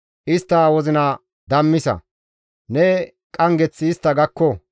Istta wozina dammisa; Ne qanggeththi istta gakko.